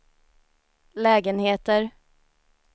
lägenheter